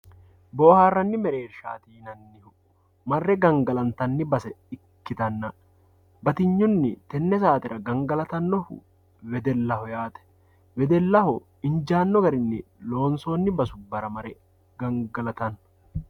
Booharani merershati yinanihu mare gangalantani base ikitana batiynuni tene saatera gangalatanoha wedelaho yaati wedelaho injaano garini lonsooni basubara mare gangalatano.